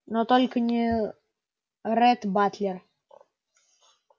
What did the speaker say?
но только не ретт батлер